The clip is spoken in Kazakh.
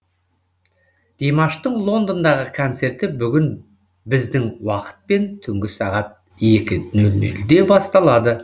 димаштың лондондағы концерті бүгін біздің уақытпен түнгі сағат екі нөл нөлде басталады